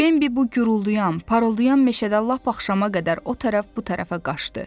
Bembi bu gurulduyan, parıldayan meşədə lap axşama qədər o tərəf bu tərəfə qaçdı.